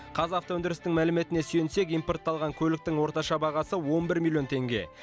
қазавтоөндірістің мәліметіне сүйенсек импортталған көліктің орташа бағасы он бір миллион теңге